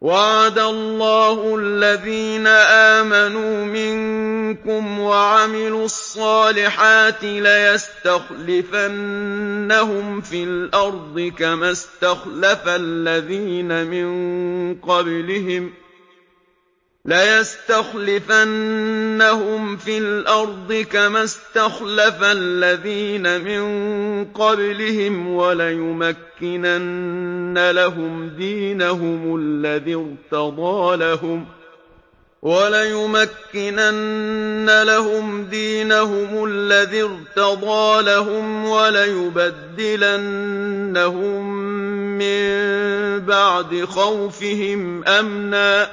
وَعَدَ اللَّهُ الَّذِينَ آمَنُوا مِنكُمْ وَعَمِلُوا الصَّالِحَاتِ لَيَسْتَخْلِفَنَّهُمْ فِي الْأَرْضِ كَمَا اسْتَخْلَفَ الَّذِينَ مِن قَبْلِهِمْ وَلَيُمَكِّنَنَّ لَهُمْ دِينَهُمُ الَّذِي ارْتَضَىٰ لَهُمْ وَلَيُبَدِّلَنَّهُم مِّن بَعْدِ خَوْفِهِمْ أَمْنًا ۚ